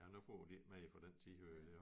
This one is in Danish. Ja nu får de ikke mere for den tiøre